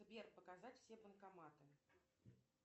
сбер показать все банкоматы